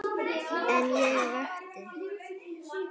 En ég vakti.